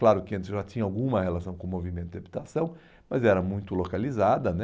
Claro que antes eu já tinha alguma relação com o movimento de habitação, mas era muito localizada, né?